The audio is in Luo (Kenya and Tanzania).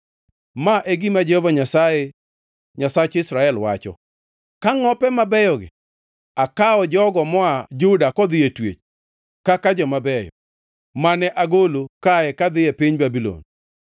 “Ma e gima Jehova Nyasaye, Nyasach Israel, wacho: ‘Ka ngʼope mabeyogi, akawo jogo moa Juda kodhi e twech kaka joma beyo, mane agolo kae kadhi e piny jo-Babulon.